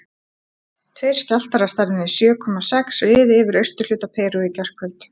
Tveir skjálftar af stærðinni sjö komma sex riðu yfir austurhluta Perú í gærkvöld.